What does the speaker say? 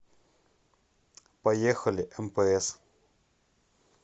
поехали мпс